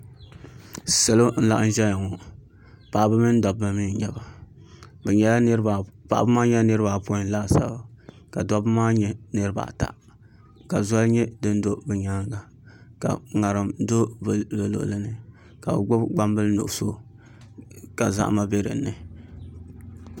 Salo n laɣam ʒɛya ŋɔ laɣaba mini dabba mii n nyɛba paɣaba maa nyɛla niraba apoin laasabu ka dabba maa nyɛ niraba ata ka zoli nyɛ din do bi nyaanga ka ŋarim do bi luɣuli ni ka bi gbubi gbambili nuɣso ka zahama bɛ dinni